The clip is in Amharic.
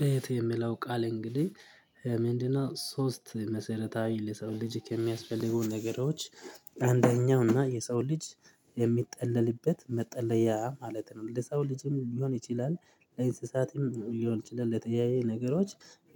ቤት የምለው ቃል እንግዲህ ምንድነው? ሶስት መሰረታዊ ለሰው ልጅ ከሚያስፈልገው ነገሮች አንደኛው እና የሰው ልጅ የሚጠለልበት መጠለያ ማለት ነው። ለሰው ልጅም ሊሆን ይችላል ለእንስሳትም ሊሆን ይችላል ለተለያየ ነገሮች